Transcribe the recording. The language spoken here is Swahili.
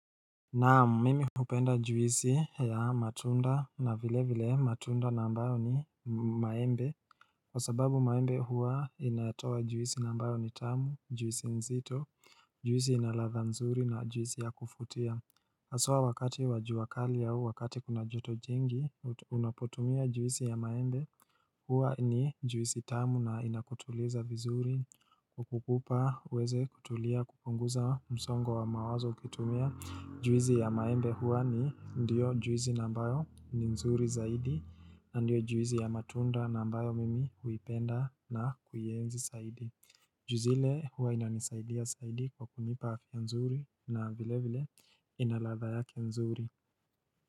Naam, mimi hupenda juisi ya matunda na vilevile matunda ambayo ni maembe Kwa sababu maembe huwa yanatoa juisi ambayo ni tamu, juisi nzito, juisi inaladha nzuri na juisi ya kufutia haswa wakati wa jua kali au wakati kuna joto jingi, unapotumia juisi ya maembe huwa ni juisi tamu na inakutuliza vizuri kukupa uweze kutulia kupunguza msongo wa mawazo ukitumia juisi ya maembe hua ni ndiyo juisi ambayo ni nzuri zaidi ndiyo juisi ya matunda na ambayo mimi huipenda na kuienzi zaidi juizi ile hua inanisaidia saidi kwa kunipa afia nzuri na vile vile inaladha yake nzuri.